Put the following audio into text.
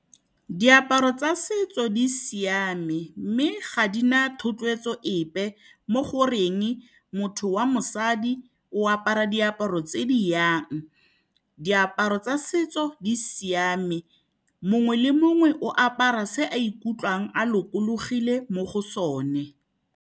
Diaparo tsa setso di siame, mme ga di na thotloetso epe mo goreng motho wa mosadi o apara diaparo tse di yang. Diaparo tsa setso di siame, mongwe le mongwe o apara se a ikutlwang a lokologile mo go sone.